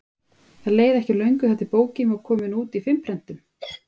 Það leið ekki á löngu þar til bókin var komin út í fimm prentunum.